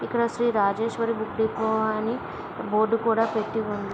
ఇక్కడ Shri Rajeshwari book depot అని board కూడ పెట్టి ఉంది.